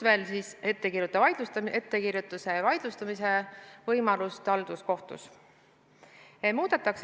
Aga on ka ettekirjutuse vaidlustamise võimalus halduskohtus.